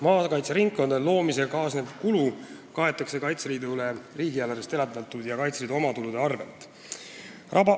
Maakaitseringkondade loomisega kaasnev kulu kaetakse Kaitseliidule riigieelarvest eraldatud rahast ja Kaitseliidu omatuludest.